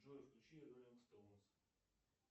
джой включи роллинг стоунс